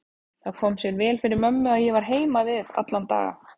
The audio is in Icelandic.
Það kom sér vel fyrir mömmu að ég var heima við alla daga.